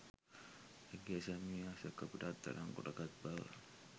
ඇගේ සැමියා සැකපිට අත්අඩංගුවට ගත් බවත්